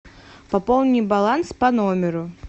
пополни баланс по номеру